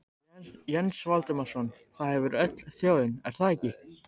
Jens Valdimarsson: Það hefur öll þjóðin, er það ekki?